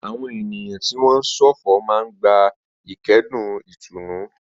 Àwọn ènìyàn tí wọ́n ń ṣọ̀fọ̀ máa ń gba ìkẹ́dùn ìtùnú.